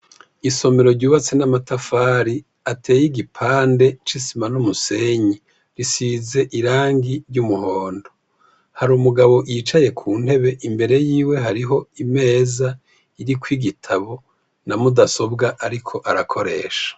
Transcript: Isomero ryubatse n'amatafari ateye igipande c'isima n'umusenyi, risize irangi ry'umuhondo, har’umugabo yicaye ku ntebe imbere yiwe hariho imeza iriko igitabo na mudasobwa ariko arakoresha.